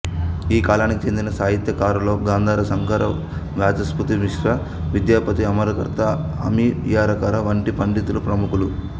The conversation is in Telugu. ఈ కాలానికి చెందిన సాహిత్యకారులలో గాంధార సంకర వాచస్పతి మిశ్రా విద్యాపతి అమర్తకర అమియకర వంటి పండితులు ప్రముఖులు